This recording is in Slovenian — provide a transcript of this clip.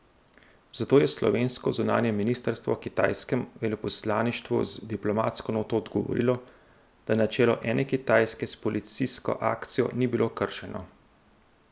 Zato je slovensko zunanje ministrstvo kitajskemu veleposlaništvu z diplomatsko noto odgovorilo, da načelo ene Kitajske s policijsko akcijo ni bilo kršeno.